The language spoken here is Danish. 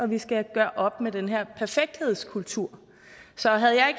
vi skal gøre op med den her perfekthedskultur så havde jeg